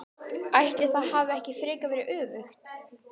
Ætli það hafi ekki frekar verið öfugt!